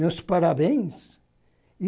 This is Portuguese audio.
Meus parabéns.